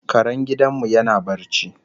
Karen gidan mu yana barci